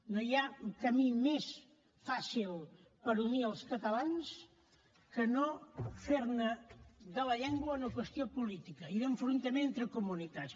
no hi ha camí més fàcil per unir els catalans que no fer ne de la llengua una qüestió política i d’enfrontament entre comunitats